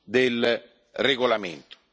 del regolamento,